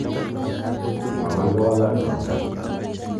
Makoi ko walak no.